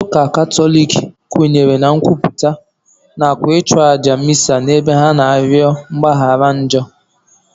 Ndị ụka katọlik kwenyere na nkwupụta nakwa ịchụ àjà misa ebe ha na-arịọ mgbaghara njọ